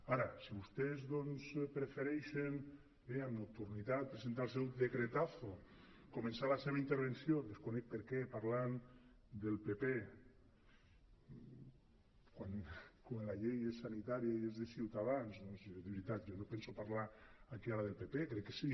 ara si vostès doncs prefereixen bé amb nocturnitat presentar el seu decretazo començar la seva intervenció desconec per què parlant del pp quan la llei és sanitària i és de ciutadans doncs de veritat jo no penso parlar aquí ara del pp crec que si